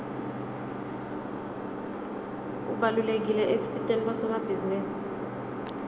ubalulekile ekusiteni bosomabhizinisi